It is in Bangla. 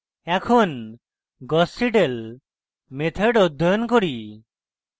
এখন gauss seidel method অধ্যয়ন করি